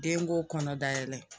Denko kɔnɔdayɛlɛ